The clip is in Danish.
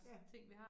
Ja